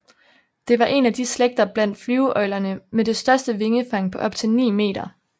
Det var en af de slægter blandt flyveøglerne med det største vingefang på op til 9 meter